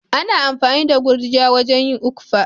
Ana amfani da gurjiya wajen yin okpa.